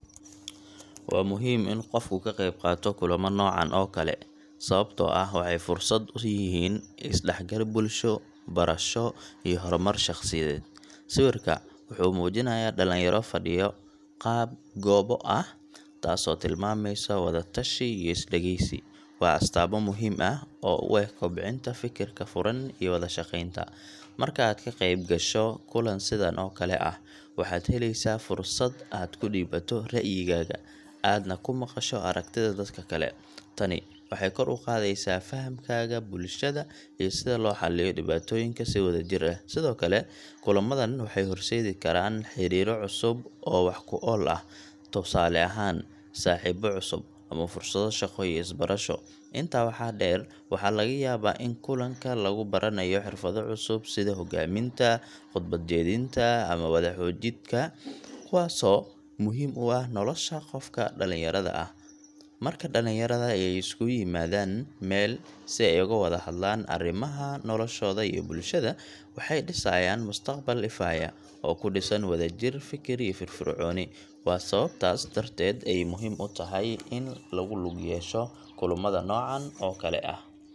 Waa muhiim in qofku ka qeyb qaato kulamo noocan oo kale ah, sababtoo ah waxay fursad u yihiin is-dhexgal bulsho, barasho, iyo horumar shaqsiyadeed. Sawirka wuxuu muujinayaa dhalinyaro fadhiya qaab goobo ah, taasoo tilmaamaysa wada-tashi iyo is-dhegeysi waa astaamo muhiim u ah kobcinta fikirka furan iyo wada shaqeynta. Marka aad ka qeyb gasho kulan sidan oo kale ah, waxaad helaysaa fursad aad ku dhiibato ra’yigaaga, aadna ku maqasho aragtida dadka kale. Tani waxay kor u qaadaysaa fahamkaaga bulshada iyo sida loo xalliyo dhibaatooyinka si wadajir ah. Sidoo kale, kulamadan waxay horseedi karaan xiriirro cusub oo wax-ku-ool ah, tusaale ahaan saaxiibo cusub, ama fursado shaqo iyo barasho. Intaa waxaa dheer, waxaa laga yaabaa in kulanka lagu baranayo xirfado cusub sida hoggaaminta, khudbad-jeedinta, ama wada-xoojidka kuwaasoo muhiim u ah nolosha qofka dhalinyarada ah. Marka dhalinyarada ay isugu yimaadaan meel si ay oga wada hadlaan arrimaha noloshooda iyo bulshada, waxay dhisayaan mustaqbal ifaya, oo ku dhisan wadajir, fikir, iyo firfircooni. Waa sababtaas darteed ay muhiim u tahay in lagu lug yeesho kulamada noocan oo kale ah.